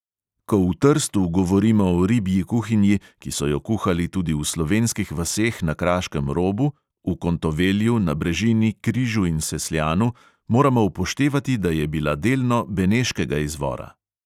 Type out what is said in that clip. Ko v trstu govorimo o ribji kuhinji, ki so jo kuhali tudi v slovenskih vaseh na kraškem robu, v kontovelu, nabrežini, križu in sesljanu, moramo upoštevati, da je bila delno beneškega izvora.